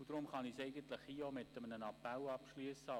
Deshalb kann ich mit einem Appell an die Motionärin abschliessen: